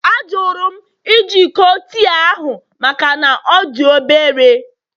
Ajụrụ m iji iko tii ahụ maka na ọ dị obere